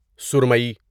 سرُمٮٔی